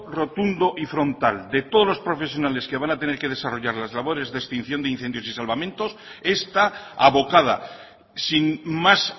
rotundo y frontal de todos los profesionales que van a tener que desarrollar las labores de extinción de incendios y de salvamentos está abocada sin más